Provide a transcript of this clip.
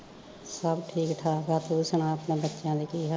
ਸਬ ਠੀਕ ਠਾਕ ਆ ਤੂੰ ਸੁਣਾ ਅਪਣੇ ਬੱਚਿਆ ਦੇ ਕੀ ਹਾਲ ਆ